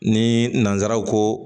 Ni nanzaraw ko